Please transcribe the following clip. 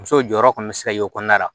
Muso jɔyɔrɔ kɔni bɛ se ka y'o kɔnɔna la